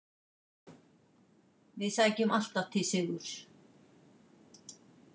Við sækjum alltaf til sigurs.